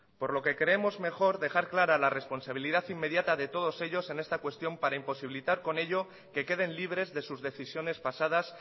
por lo que creemos mejor dejar clara la responsabilidad inmediata de todos ellos en esta cuestión para imposibilitar con ello que queden libres de sus decisiones pasadas